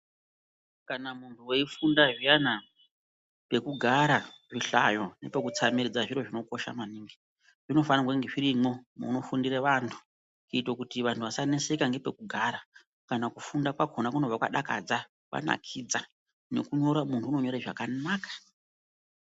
Kana muntu weifunda zviyana pekugara, zvihlayo nepekutsamiridza zviro zvinokosha maningi. Zvinofanirwa kunge zvirimwo munofundire vantu kuitira kuti vantu vasaneseka nepekugara. Kana kufunda kwakona kunobva kwadakadza, kwanakidza. Nekunyora munhu unonyore zvakanaka.